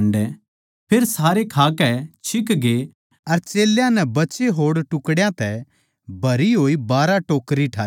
फेर सारे खाकै छिकगे अर चेल्यां नै बचे होड़ टुकड़्यां तै भरी होई बारहां टोकरियाँ ठाई